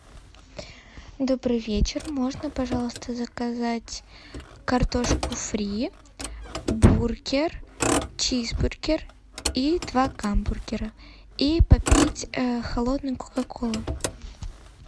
добрый вечер можно пожалуйста заказать картошку фри бургер чизбургер и два гамбургера и попить холодной кока колы